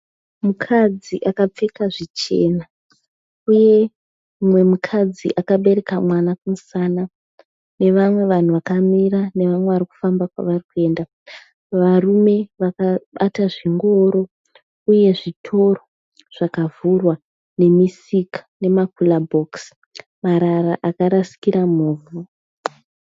Mukadzi akapfeka zvichena uye mumwe mukadzi akabereka mwana kumusana nevamwe vanhu vakamira nevamwe vari kufamba kwavari kuenda. Varume vakabata zvingoro uye zvitoro zvakavhurwa nemisika nemakurabhokisi. Marara akarasikira muvhu.